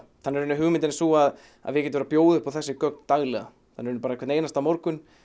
hugmyndin er sú að að við getum verið að bjóða upp á þessi gögn daglega þannig að hvern einasta morgun